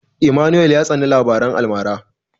Emmanuel ya tsani labaran almara.